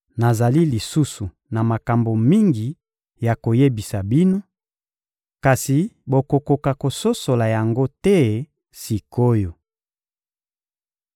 Nazali lisusu na makambo mingi ya koyebisa bino, kasi bokokoka kososola yango te sik’oyo.